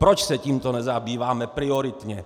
Proč se tímto nezabýváme prioritně?